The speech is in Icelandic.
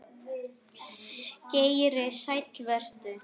Geir Sæll vertu.